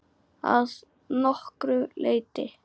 Að nokkru leyti.